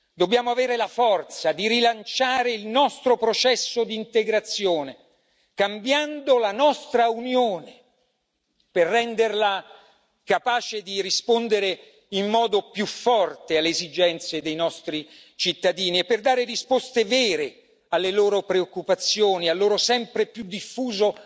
Dobbiamo avere la forza di rilanciare il nostro processo di integrazione, cambiando la nostra Unione per renderla capace di rispondere in modo più forte alle esigenze dei nostri cittadini e per dare risposte vere alle loro preoccupazioni, al loro sempre più diffuso